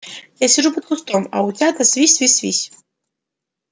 я сижу под кустом а утята свись свись свись